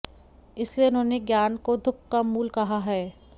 इसलिए उन्होंने ज्ञान को दुःख का मूल कहा है